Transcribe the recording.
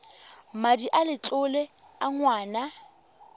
madi a letlole a ngwana